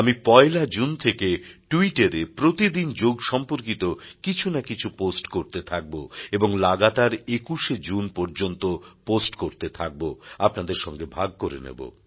আমি ১লা জুন থেকে ট্যুইটারে প্রতিদিন যোগ সম্পর্কিত কিছু না কিছু পোস্ট করতে থাকবো এবং লাগাতার ২১ শে জুন পর্যন্ত পোস্ট করতে থাকবো আপনাদের সঙ্গে ভাগ করে নেব